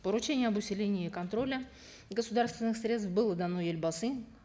поручение об усилении контроля государственных средств было дано елбасы